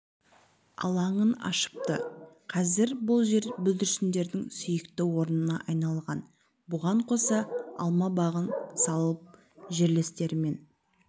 алаңын ашыпты қазір бұл жер бүлдіршіндердің сүйікті орнына айналған бұған қоса алма бағын салып жерлестерімен